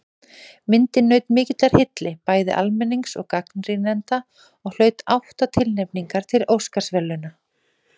Myndin naut mikillar hylli bæði almennings og gagnrýnenda og hlaut átta tilnefningar til Óskarsverðlauna.